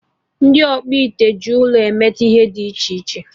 Ndị ọkpụite ji ụrọ emete ihe dị iche iche